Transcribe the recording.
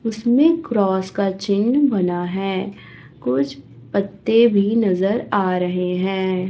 उसमें क्रॉस का चिन्ह बना है कुछ पत्ते भी नजर आ रहे हैं।